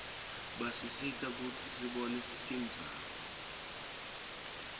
basisita kutsi sibone tindzaba